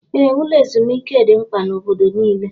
Ee, ụlọ ezumike dị mkpa na obodo nile